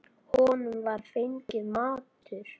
Honum var fenginn matur.